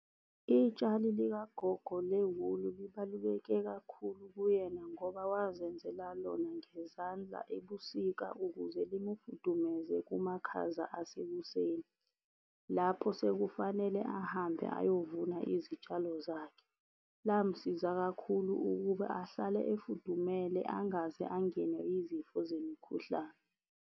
Itshali likagogo lewuli libaluleke kakhulu kuyena ngoba wazenzela lona ngezandla ebusika ukuze limufudumeze kumakhaza asekuseni. Lapho sekufanele ahambe ayovuna izitshalo zakhe, lamsiza kakhulu ukuba ahlale efudumele angaze angenwe izifo zemikhuhlane.